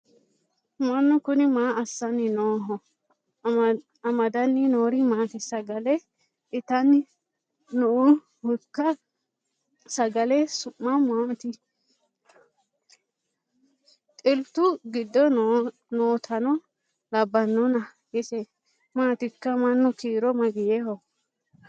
mannu kuni maa assanni nooho amadanni noori maati sagale itanni noohoikka sagale su'ma maati xiltu giddo nootano labbannona ise maatikka mannu kiiro mageeho